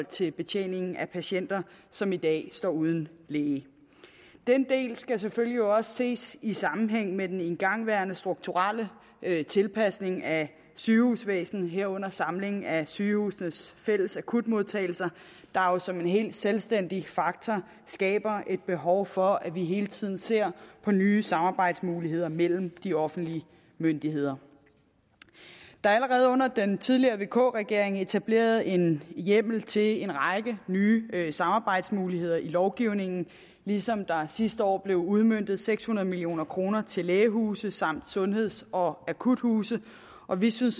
til betjeningen af de patienter som i dag står uden læge denne del skal selvfølgelig også ses i sammenhæng med den igangværende strukturelle tilpasning af sygehusvæsenet herunder samlingen af sygehusenes fælles akutmodtagelser der jo som en helt selvstændig faktor skaber et behov for at vi hele tiden ser på nye samarbejdsmuligheder mellem de offentlige myndigheder der er allerede under den tidligere vk regering blevet etableret en hjemmel til en række nye samarbejdsmuligheder i lovgivningen ligesom der sidste år blev udmøntet seks hundrede million kroner til lægehuse samt til sundheds og akuthuse og vi synes